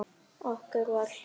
Okkur var hlýtt.